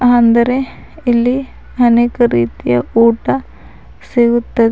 ಅಂದರೆ ಇಲ್ಲಿ ಅನೇಕ ರೀತಿಯ ಊಟ ಸಿಗುತ್ತದೆ.